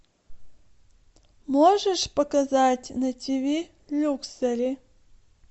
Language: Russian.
можешь показать на тв люксери